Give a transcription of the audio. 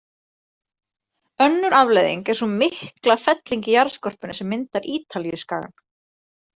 Önnur afleiðing er sú mikla felling í jarðskorpunni sem myndar Ítalíuskagann.